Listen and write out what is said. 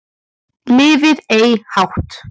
Lifð ei hátt